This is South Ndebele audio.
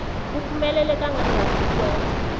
kuphumelela kangangani ukwenza